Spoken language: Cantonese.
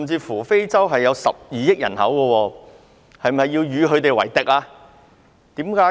非洲有12億人口，他是否要與他們為敵？